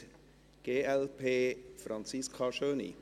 Für die glp, Franziska Schöni.